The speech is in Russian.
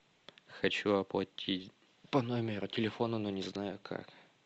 хочу оплатить по номеру телефона но не знаю как